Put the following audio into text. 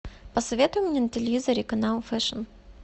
посоветуй мне на телевизоре канал фэшн